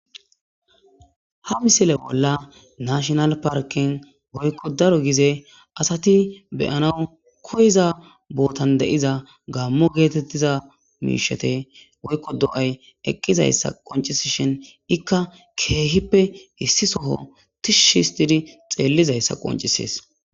Ha misile bolla naashinal parken woykko daro gize asati be'anaw koyiza bootan de'iza gaamo geetetiza miisheti woykko do'ay eqqizayssa qoncisishin ikka keehippe issi soho tishshi histidi xeelizaysa qoncises.